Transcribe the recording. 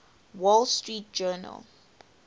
wall street journal